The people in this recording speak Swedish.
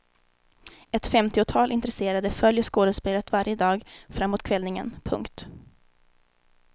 Ett femtiotal intresserade följer skådespelet varje dag fram mot kvällningen. punkt